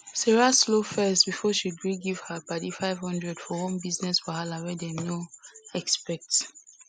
sarah slow first before she gree give her padi 500 for one business wahala wey dem no expect